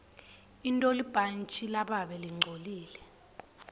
intolibhantji lababe lingcolile